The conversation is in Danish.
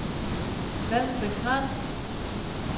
Vallensbæk Strand